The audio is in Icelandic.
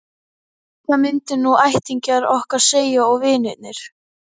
Hvað myndu nú ættingjar okkar segja- og vinirnir?